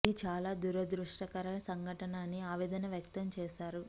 ఇది చాలా దురదృష్టకర సంఘటన అని ఆవేదన వక్తం చేశారు